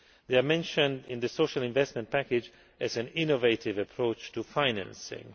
They are mentioned in the social investment package as an innovative approach to financing.